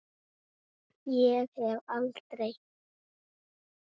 Ég fer aldrei.